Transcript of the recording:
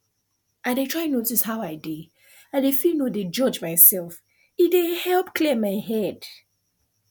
i dey try notice how i dey i dey feel no dey judge myself e dey help clear my head